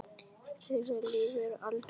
Þeirra líf verður aldrei eins.